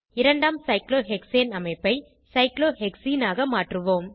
இரண்டாம் சைக்ளோஹெக்சேன் அமைப்பை சைக்ளோஹெக்சீன் ஆக மாற்றுவோம்